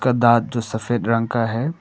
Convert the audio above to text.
दांत जो सफेद रंग का है।